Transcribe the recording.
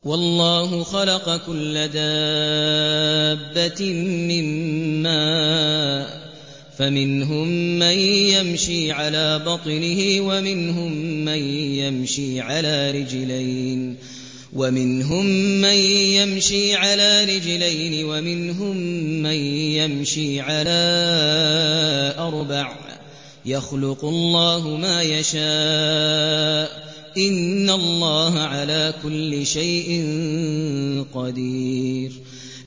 وَاللَّهُ خَلَقَ كُلَّ دَابَّةٍ مِّن مَّاءٍ ۖ فَمِنْهُم مَّن يَمْشِي عَلَىٰ بَطْنِهِ وَمِنْهُم مَّن يَمْشِي عَلَىٰ رِجْلَيْنِ وَمِنْهُم مَّن يَمْشِي عَلَىٰ أَرْبَعٍ ۚ يَخْلُقُ اللَّهُ مَا يَشَاءُ ۚ إِنَّ اللَّهَ عَلَىٰ كُلِّ شَيْءٍ قَدِيرٌ